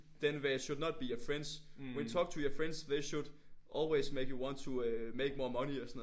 Then they should not be your friends. When talk to your friends they should always make you want to øh make more money og sådan noget